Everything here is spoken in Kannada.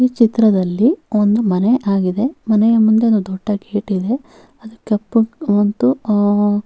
ಈ ಚಿತ್ರದಲ್ಲಿ ಒಂದು ಮನೆ ಆಗಿದೆ ಮನೆಯ ಮುಂದೆ ಒಂದು ದೊಡ್ಡ ಗೇಟ್ ಇದೆ ಅದು ಕಪ್ಪು ಮತ್ತು ಅಹ್ --